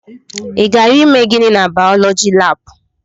Ị gara ime gịnị na baulọji lab?